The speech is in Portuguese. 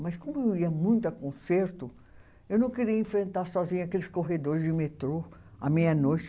Mas como eu ia muito a concerto, eu não queria enfrentar sozinha aqueles corredores de metrô à meia-noite.